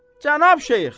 Cənab şeyx.